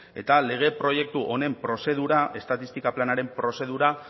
eta lege proiektu honen prozedura estatistika planaren prozedura